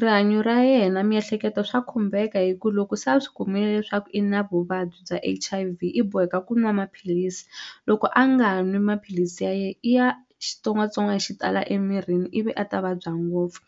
Rihanyo ra yena miehleketo swa khumbeka hi ku loko se a swi kumile leswaku i na vuvabyi bya H_I_V i boheka ku nwa maphilisi loko a nga nwi maphilisi ya yena i ya xitsongwatsongwana xi tala emirini ivi a ta vabya ngopfu